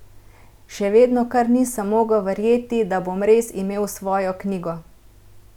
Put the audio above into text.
Še vedno kar nisem mogel verjeti, da bom res imel svojo knjigo!